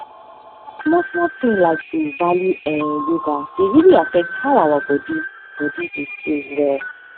small small thing like to value[um]yoga dey really affect how our body body dey feel well